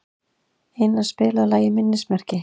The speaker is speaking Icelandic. Ina, spilaðu lagið „Minnismerki“.